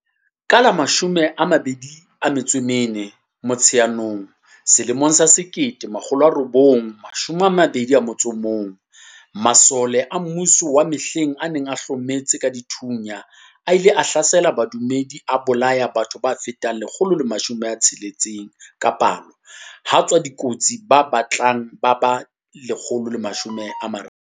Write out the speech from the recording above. Ka la 24 Motsheanong 1921, masole a mmuso wa mehleng a neng a hlometse ka dithunya a ile a hlasela badumedi a bolaya batho ba fetang 160 ka palo ha tswa dikotsi ba batlang ba ba 130.